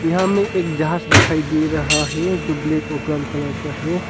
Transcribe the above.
यहां हमें एक जहाज दिखाई दे रहा है जो ब्लैक और ब्राउन कलर का है।